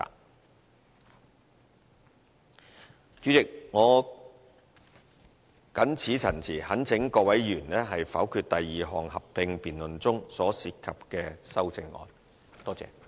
代理主席，我謹此陳辭，懇請各位議員否決第二項合併辯論中所涉及的修正案。